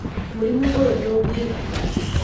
Mũrimũ oyũ ndũ ngĩgita.